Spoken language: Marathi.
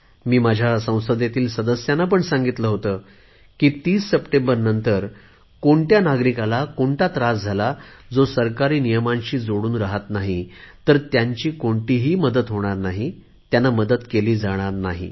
मी माझ्या संसदेतील सभासदांना पण सांगितले होते की 30 सप्टेंबरनंतर सरकारी नियमांशी जोडल्या न गेलेल्या कुठल्याही नागरिकाला त्रास झाला तर त्यांना कोणतीही मदत मिळणार नाही त्यांना मदत केली जाणार नाही